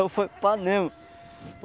Eu fui panema.